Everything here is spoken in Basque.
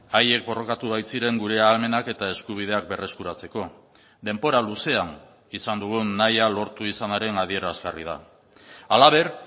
haiek borrokatu baitziren gure ahalmenak eta eskubideak berreskuratzeko denbora luzean izan dugun nahia lortu izanaren adierazgarri da halaber